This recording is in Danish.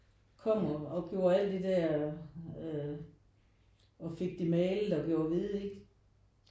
Kom og gjorde al det der øh og fik det malet og gjort hvide ikke